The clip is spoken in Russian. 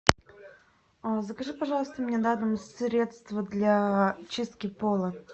закажи пожалуйста мне на дом средство для чистки пола